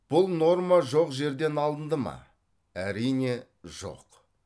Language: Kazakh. бұл норма жоқ жерден алынды ма әрине жоқ